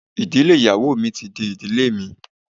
Ìdílé ìyàwó mi ti di ìdílé mi.